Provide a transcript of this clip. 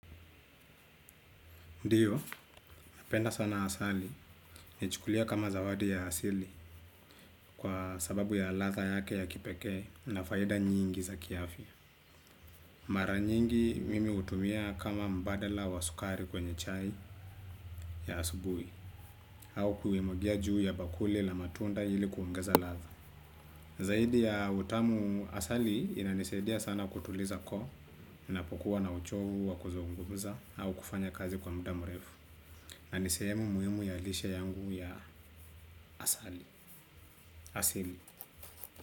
Ndiyo, napenda sana asali, naichukulia kama zawadi ya asili kwa sababu ya ladha yake ya kipekee na faida nyingi za kiafya. Mara nyingi mimi hutumia kama mbadala wa sukari kwenye chai ya asubui au kuimwagia juu ya bakuli la matunda hili kuongeza latha. Zaidi ya utamu asali inanisaidia sana kutuliza koo, ninapokuwa na uchovu wa kuzungumuza au kufanya kazi kwa muda mrefu. Na ni sehemu muhimu ya lishe yangu ya asali asili.